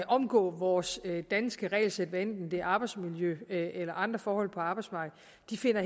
omgå vores danske regelsæt hvad enten det er arbejdsmiljø eller andre forhold på arbejdsmarkedet